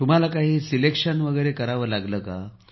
तुम्हाला काही पर्याय निवडावे लागले का